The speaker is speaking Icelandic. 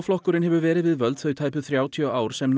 flokkurinn hefur verið við völd þau tæpu þrjátíu ár sem